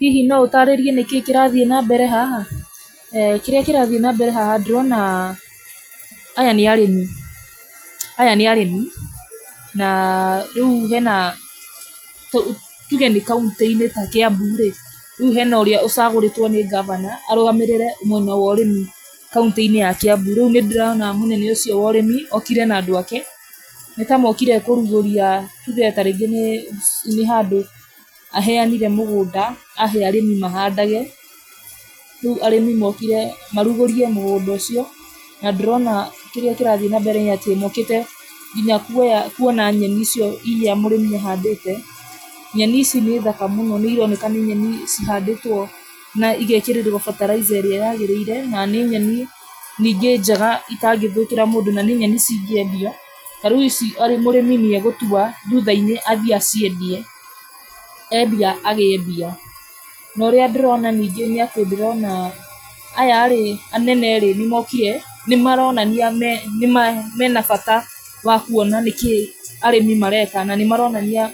Hihi no ũtaarĩrie nĩkĩĩ kĩrathiĩ na mbere haha? Kĩrĩa kirathiĩ nambere haha ndĩrona, aya nĩ arĩmi, na rĩu hena, tu tuge nĩ kauntĩ-inĩ ta Kĩambu rĩ, rĩu hena ũrĩa ũcagũrĩtwo nĩ ngavana, arũgamĩrĩre mwena wa ũrĩmi kauntĩ-inĩ ya kiambu, rĩu nĩndĩrona mũnene ũcio wa ũrĩmi, okire na andũ ake, nĩtamokire kũrugũria, tuge tarĩngĩ nĩ, nĩ handũ aheanire mũgũnda, ahe arĩmi mahandage, rĩu arĩmi mokire, marugũrie mũgũnda ũcio, na ndĩrona kĩrĩa kĩrathiĩ nambere nĩatĩ mokĩte nginya kuoya kuona nyeni icio iria mũrĩmi ahandĩte, nyeni ici nĩ thaka mũno nĩironeka nĩ nyeni cihandĩtwo na igekĩrĩrwo fertilizer ĩrĩa yagĩrĩire, na nĩ nyeni, ningĩ njega itangĩthũkĩra mũndũ, na nĩ nyeni cingĩendia, ta rĩu ici a mũrĩmi nĩagũtua, thutha-inĩ athiĩ aciendie, endia agĩe mbia, norĩa ndĩrona ningĩ nĩatĩ ndĩrona aya rĩ, anene rĩ, nĩmokire, nĩmaronania me nĩma mena bata wa kuona nĩkĩĩ arĩmi mareka, na nĩmaronania,